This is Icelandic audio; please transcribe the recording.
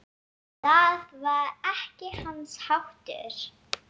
Það var ekki hans háttur.